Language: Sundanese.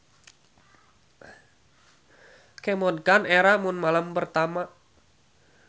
Kemod kan era mun malam pertama.